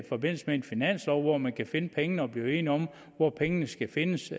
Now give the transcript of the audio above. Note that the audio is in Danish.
forbindelse med en finanslov hvor man kan finde pengene og blive enige om hvor pengene skal findes